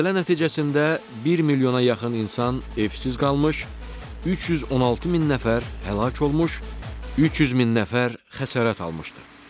Zəlzələ nəticəsində 1 milyona yaxın insan evsiz qalmış, 316 min nəfər həlak olmuş, 300 min nəfər xəsarət almışdı.